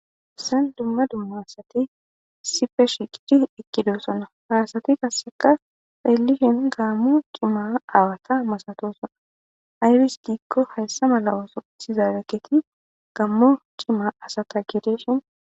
ssan dumma dumma asati sife shiqidi ikkido sona haasati qasseka xeellishin gaammo cima awata masatosona ayris diikko hayssa mala ooso ithi zaadaketi gammo cima asata gedeshin